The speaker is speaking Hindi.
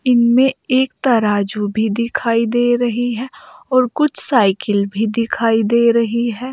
इनमें एक तराजू भी दिखाई दे रही है और कुछ साइकिल भी दिखाई दे रही है।